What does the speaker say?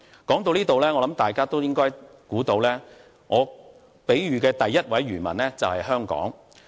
說到這裏，我相信大家都應該猜到，故事中第一位漁民就是香港。